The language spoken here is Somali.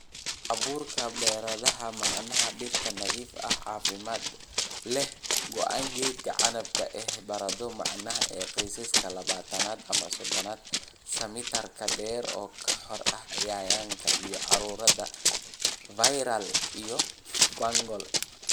"Abuurka baradhada macaan Dhirta nadiif ah, caafimaad leh, gooyn geedka canabka ah ee baradho macaan ee qiyaastii labatan ama sodon sentimitar dheer oo ka xor ah cayayaanka, iyo cudurada viral iyo fungal."